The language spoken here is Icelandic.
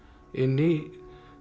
inn í